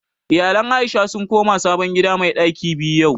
Iyalan Aisha sun koma sabon gida mai ɗaki biyu yau